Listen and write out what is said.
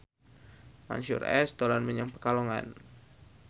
Mansyur S dolan menyang Pekalongan